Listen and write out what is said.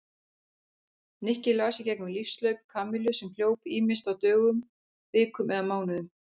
Nikki las í gegnum lífshlaup Kamillu sem hljóp ýmist á dögum, vikum eða mánuðum.